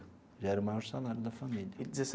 Já era o maior salário da família.